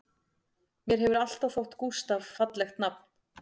Mér hefur alltaf þótt Gústaf fallegt nafn